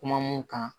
Kuma mun kan